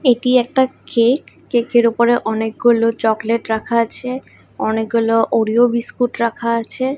এটি একটা cake cake -এর উপরে অনেকগুলো চকলেট রাখা আছে অনেকগুলো ওরিও বিস্কুট রাখা আছে।